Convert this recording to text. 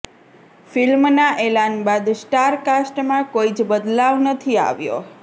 ફિલ્મના એલાન બાદ સ્ટાર કાસ્ટમાં કોઈ જ બદલાવ નથી આવ્યો